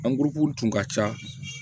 tun ka ca